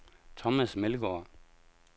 Thomas Meldgaard